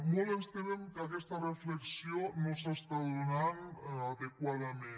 molt ens temem que aquesta reflexió no s’està donant adequadament